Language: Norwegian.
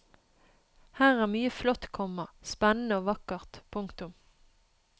Her er mye flott, komma spennende og vakkert. punktum